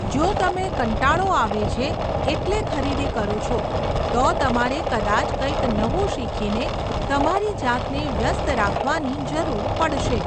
જો તમે કંટાળો આવે છે એટલે ખરીદી કરો છો, તો તમારે કદાચ કંઈક નવું શીખીને તમારી જાતને વ્યસ્ત રાખવાની જરૂર પડશે.